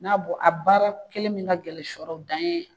N'a bɔ a baara kɛlen min ka gɛlɛn sɔ dan ye